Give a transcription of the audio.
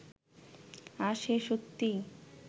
আজ সে সত্যিই